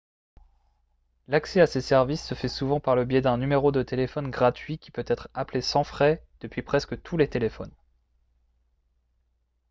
l'accès à ces services se fait souvent par le biais d'un numéro de téléphone gratuit qui peut être appelé sans frais depuis presque tous les téléphones